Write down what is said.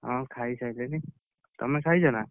ହଁ ଖାଇସାଇଲେଣି, ତମେ ଖାଇଛ ନା?